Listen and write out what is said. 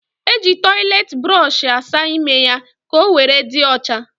E ji toiletiburoshi asa ímé ya ka owere dị ocha